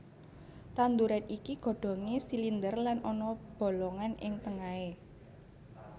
Tanduran iki godhongé silinder lan ana bolongan ing tengahé